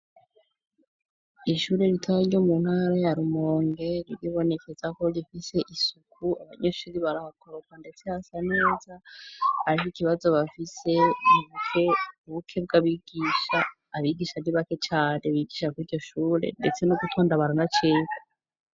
Ishure ritoya ryo mu ntara ya Rumonge, riribonekeza ko rifise isuku. Abanyeshuri barakoropa ndetse hasa neza ariho ikibazo bafise ubukene bwabigisha, abigisha nibake cane bigisha kur'iryo shure ndetse no gutonda baranacerwa.